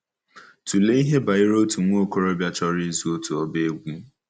Tụlee ihe banyere otu nwa okorobịa chọrọ ịzụ otu ọba egwú.